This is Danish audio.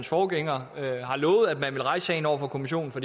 forgængere lovede at man ville rejse sagen over for kommissionen og